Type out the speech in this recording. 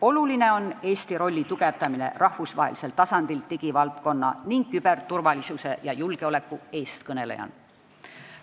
Oluline ongi tugevdada Eesti rolli kõigi nende valdkondade eestkõnelejana.